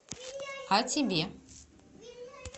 а тебе